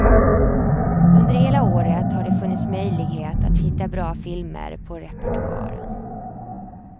Under hela året har det funnits möjlighet att hitta bra filmer på repertoaren.